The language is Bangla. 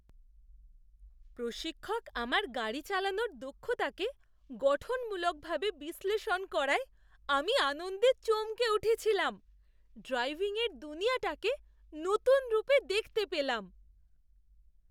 প্রশিক্ষক আমার গাড়ি চালানোর দক্ষতাকে গঠনমূলকভাবে বিশ্লেষণ করায় আমি আনন্দে চমকে উঠেছিলাম। ড্রাইভিংয়ের দুনিয়াটাকে নতুন রূপে দেখতে পেলাম।